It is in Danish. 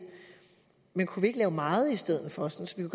men kunne vi ikke lave meget i stedet for sådan